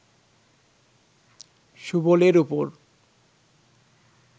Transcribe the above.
সুবলের উপর